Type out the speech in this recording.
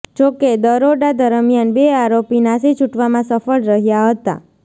જોકે દરોડા દરમિયાન બે આરોપી નાસી છુટવામાં સફળ રહ્યા હતા